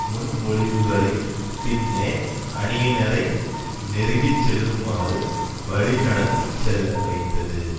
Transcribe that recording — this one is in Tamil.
முன்மொழிவுகளின் பின்னே அணியினரை நெருங்கிச்செல்லுமாறு வழிநடத்திச்செல்ல வைத்தது